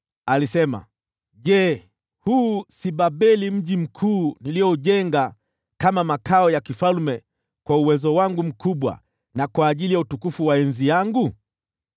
alisema, “Je, huu si Babeli mji mkuu nilioujenga kama makao ya kifalme, kwa uwezo wangu mkubwa, na kwa ajili ya utukufu wa enzi yangu?”